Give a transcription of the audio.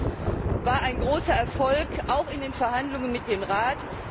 Dies war ein großer Erfolg auch in den Verhandlungen mit dem Rat.